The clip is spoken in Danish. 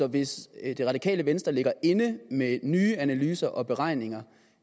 hvis det radikale venstre ligger inde med nye analyser og beregninger